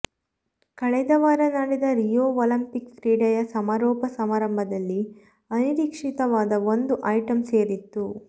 ಕಳೆದವಾರ ನಡೆದ Rio Olympics ಕ್ರೀಡೆಯ ಸಮಾರೋಪ ಸಮಾರಂಭದಲ್ಲಿ ಅನಿರೀಕ್ಷಿತವಾದ ಒಂದು ಐಟಂ ಸೇರಿತ್ತು